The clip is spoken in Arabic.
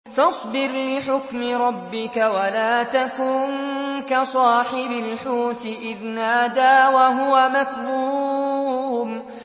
فَاصْبِرْ لِحُكْمِ رَبِّكَ وَلَا تَكُن كَصَاحِبِ الْحُوتِ إِذْ نَادَىٰ وَهُوَ مَكْظُومٌ